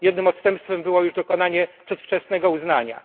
Jednym odstępstwem było już dokonanie przedwczesnego uznania.